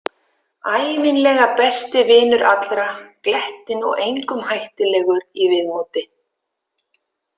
Ævinlega besti vinur allra, glettinn og engum hættulegur í viðmóti.